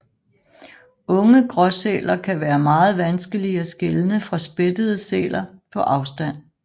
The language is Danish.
Unge gråsæler kan være meget vanskelige at skelne fra spættede sæl på afstand